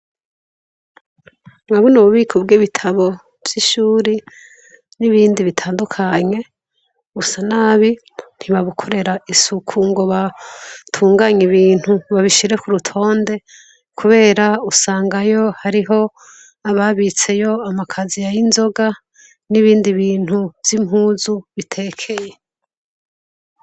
Urabona ububiko bwibitabo vyishure nibindi bitandukanye busa nabi ntibabukorera isuku ngo batunganye ibintu ngo babishire kurutonde kubera usangayo hariho ababitseyo amakasiye yinzoga nibindi bintu vyimpuzu bitekeye